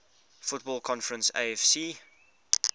football conference afc